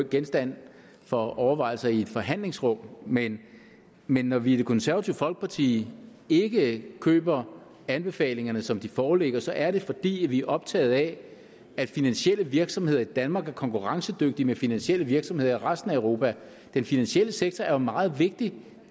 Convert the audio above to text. genstand for overvejelser i et forhandlingsrum men men når vi i det konservative folkeparti ikke køber anbefalingerne som de foreligger så er det fordi vi er optaget af at finansielle virksomheder i danmark er konkurrencedygtige med finansielle virksomheder i resten af europa den finansielle sektor er meget vigtig